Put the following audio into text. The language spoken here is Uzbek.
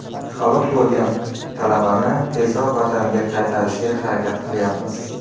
Halok bo‘lgan talabani tezroq vataniga qaytarishga harakat qilayapmiz.